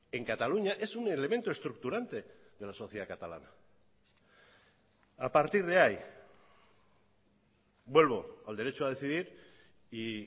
en cataluña es un elemento estructurante de la sociedad catalana a partir de ahí vuelvo al derecho a decidir y